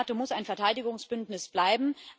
Die NATO muss ein Verteidigungsbündnis bleiben.